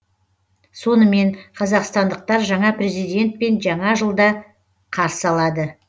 сонымен қазақстандықтар жаңа президентпен жаңа жылды қарсы алады